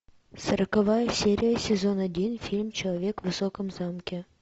сороковая серия сезон один фильм человек в высоком замке